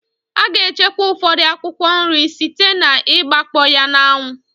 A ga-echekwa ụfọdụ akwụkwọ nri site n'igbakpọ ya n'anwụ.